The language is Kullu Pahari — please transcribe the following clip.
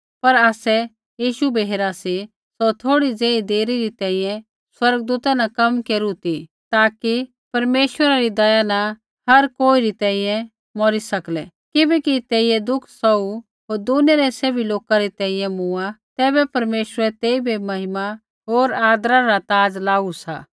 पर आसै यीशु बै हेरा सी सौ थोड़ी ज़ेही देरा री तैंईंयैं स्वर्गदूता न कम केरू ती ताकि परमेश्वरा री दया न हर कोईरी तैंईंयैं मौरी सकलै किबैकि तेइयै दुःख सौहू होर दुनिया रै सैभ लोका री तैंईंयैं मूँआ तैबै परमेश्वरै तेइबै महिमा होर आदरा रा ताज़ लाऊ सा